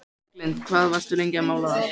Berglind: Hvað varstu lengi að mála það?